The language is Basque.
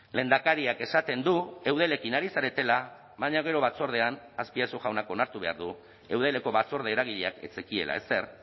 lehendakariak esaten du eudelekin ari zaretela baina gero batzordean azpiazu jaunak onartu behar du eudeleko batzorde eragileak ez zekiela ezer